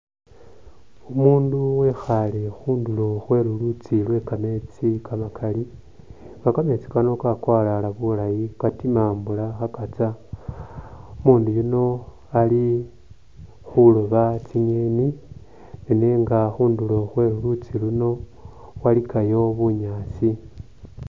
Umundu wekhale khunduro khwe lulutsi lwe kamesti kamakali nga kametsi kano kakwalala bulayi katima mbola kha katsa umundu yuno ali khuloba tsinyeni nenenga khunduro khwe lulutsi luno walikayo bunyaasi.